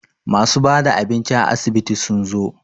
masu bada abinci a asibitin sun zo